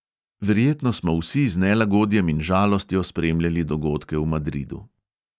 Verjetno smo vsi z nelagodjem in žalostjo spremljali dogodke v madridu.